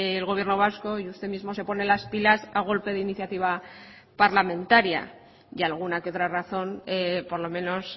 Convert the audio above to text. el gobierno vasco y usted mismo se pone las pilas a golpe de iniciativa parlamentaria y alguna que otra razón por lo menos